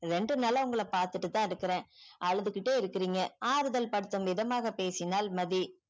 இரண்டு நாளை உங்கள பாத்துட்டு தான் இருக்குற அழுதுகிட்டே இருக்கீங்க ஆறுதல் படுத்து விதமாக பேசினால் மதி